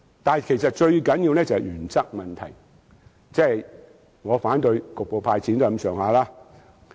但是，最重要的是原則問題，正如我反對局部"派錢"也是類似意思。